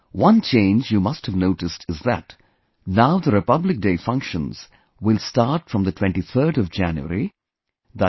One change you must have noticed is that now the Republic Day functions will start from the 23rd of January, i